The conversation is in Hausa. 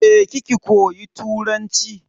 Je ki ki koyi Turanci.